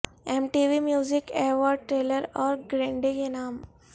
M T V music award Taylor اور Grande کے نام